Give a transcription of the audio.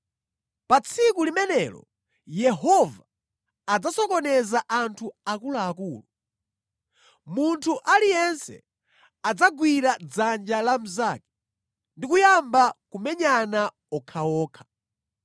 Pa tsiku limenelo Yehova adzasokoneza anthu akuluakulu. Munthu aliyense adzagwira dzanja la mnzake, ndi kuyamba kumenyana okhaokha.